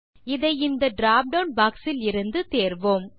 இதை இந்த drop down box இலிருந்து தேர்வோம்